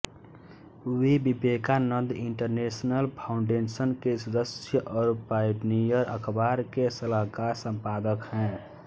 वे Vivekananda International Foundation के सदस्य और पायनियर अखबार के सलाहकार संपादक हैं